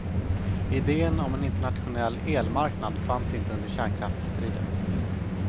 Iden om en internationell elmarknad fanns inte under kärnkraftsstriden.